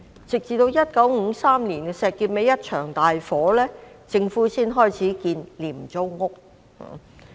直至1953年石硤尾發生一場大火，政府才開始興建廉租屋。